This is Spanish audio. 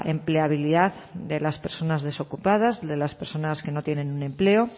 empleabilidad de las personas desocupadas de las personas que no tienen un empleo